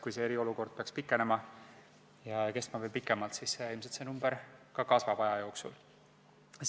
Kui eriolukord peaks pikenema ja kestma kauem, siis ilmselt see number aja jooksul kasvab.